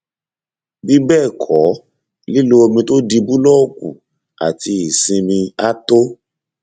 bí bẹẹ kọ lílo omi tó di búlọọkù àti ìsinmi á tó